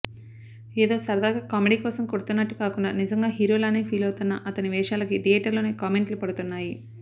ఏదో సరదాగా కామెడీ కోసం కొడుతున్నట్టు కాకుండా నిజంగా హీరోలానే ఫీలవుతోన్న అతని వేషాలకి థియేటర్లోనే కామెంట్లు పడుతున్నాయి